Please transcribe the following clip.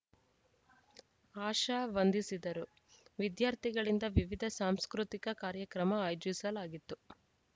ಆಶಾ ವಂದಿಸಿದರು ವಿದ್ಯಾರ್ಥಿಗಳಿಂದ ವಿವಿದ ಸಾಂಸ್ಕೃತಿಕ ಕಾರ್ಯಕ್ರಮ ಆಯೋಜಿಸಲಾಗಿತ್ತು